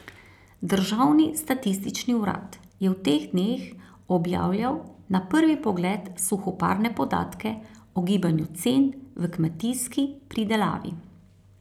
Državni statistični urad je v teh dneh objavljal na prvi pogled suhoparne podatke o gibanju cen v kmetijski pridelavi.